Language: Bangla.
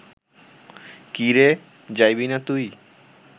কি রে, যাইবি না তুই